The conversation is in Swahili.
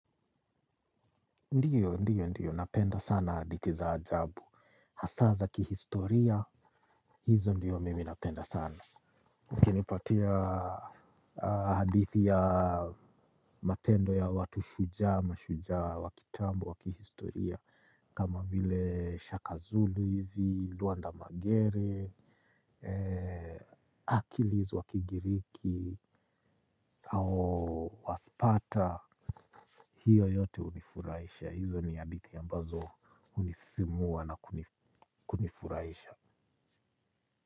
Ndiyo, ndiyo, ndiyo. Napenda sana hadithi za ajabu. Hasa za kihistoria, hizo ndiyo mimi napenda sana. Mkinipatia hadithi ya matendo ya watu shujaa, mashujaa, wa kitambo, wa kihistoria. Kama vile Shaka Zulu hizi, Luanda Magere, Achilles wa kigiriki, au Waspata. Hiyo yote hunifurahisha. Hizo ni hadithi ambazo hunisimua na kunifurahisha.